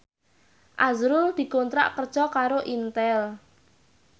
azrul dikontrak kerja karo Intel